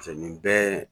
nin bɛɛ